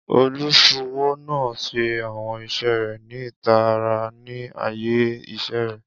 Oluṣowo naa n ṣe awọn iṣẹ rẹ ni itara ni aaye iṣẹ rẹ.